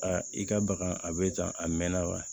i ka baga a bɛ tan a mɛnna wa